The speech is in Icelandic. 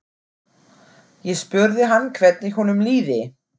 Ég spurði hann hvernig honum liði.